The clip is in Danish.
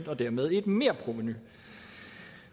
og dermed et merprovenu